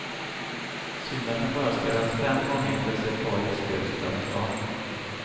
Synd att den bara spelas fem gånger plus ett par gästspel utanför stan.